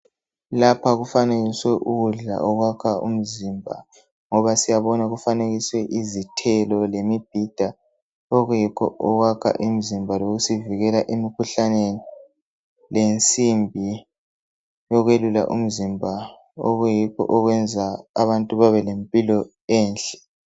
Lapha kufanikiswe ukudla okwakha umzimba ngoba siyabona ukuthi kufanikiswe izithelo lemibhida okuyikho okwakha imzimba lokusivikela emikhuhlaneni , lensimbi yokuyelula umzimba okuyikho okuyenza abantu babelempilo enhle.